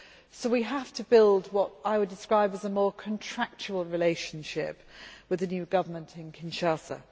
So we have to build what I would describe as a more contractual relationship with the new government in Kinshasa.